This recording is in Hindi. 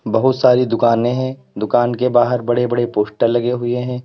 बहुत सारी दुकानें है दुकान के बाहर बड़े बड़े पोस्टर लगे हुए है।